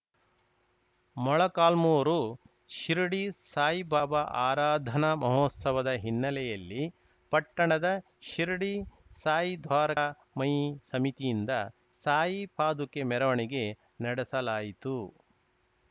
ಮೊಳಕಾಲ್ಮುರು ಶಿರಡಿ ಸಾಯಿ ಬಾಬಾ ಆರಾಧನಾ ಮಹೋತ್ಸವದ ಹಿನ್ನಲೆಯಲ್ಲಿ ಪಟ್ಟಣದ ಶಿರಡಿ ಸಾಯಿ ದ್ವಾರ ಮಯಿ ಸಮಿತಿಯಿಂದ ಸಾಯಿ ಪಾದುಕೆ ಮೆರವಣಿಗೆ ನಡೆಸಲಾಯಿತು